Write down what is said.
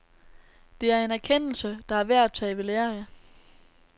Det er en erkendelse, der er værd at tage ved lære af.